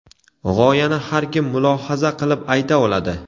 G‘oyani har kim mulohaza qilib ayta oladi.